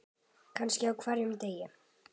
Kannski á hverjum degi.